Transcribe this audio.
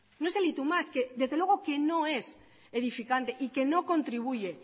no es el y tú más que desde luego que no es edificante y que no contribuye